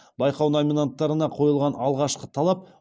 байқау номинанттарына қойылған алғашқы талап